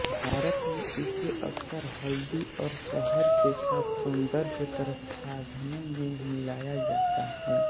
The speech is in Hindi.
भारत में इसे अक्सर हल्दी और शहद के साथ सौन्दर्य प्रसाधनों में मिलाया जाता है